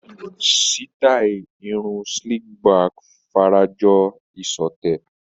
Sítáì irun slick back fara jọ ìṣọ̀tẹ̀.